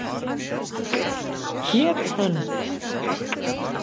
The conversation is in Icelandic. Hét hann